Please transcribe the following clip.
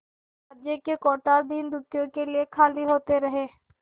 राज्य के कोठार दीनदुखियों के लिए खाली होते रहे